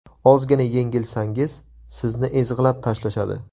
Ozgina yengilsangiz, sizni ezg‘ilab tashlashadi.